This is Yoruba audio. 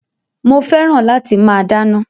Mo fẹ́ràn láti máa dáná